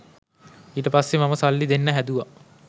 ඊට පස්සේ මම සල්ලි දෙන්න හැදුව